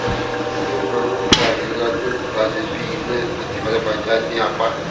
kí ló máa ń fa ìrora tó ń tani bí iná àti pajápajá ní apá